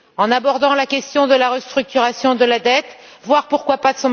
Il faut aborder la question de la restructuration de la dette, voire pourquoi pas?